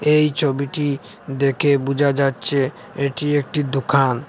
এই ছবিটি দেখে বুঝা যাচ্ছে এটি একটি দোকান।